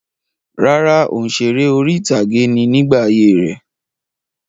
Rárá, òǹsèré orí-ìtàgé ni nígbà ayé rẹ̀.